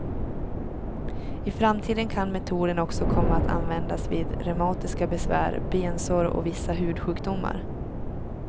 I framtiden kan metoden också komma att användas vid reumatiska besvär, bensår och vissa hudsjukdomar.